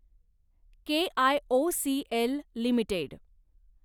KIOCL limited